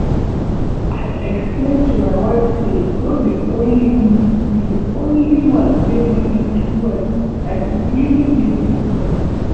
I explain to my wife say no be only me be the only man wey marry two wives and e even dey for bible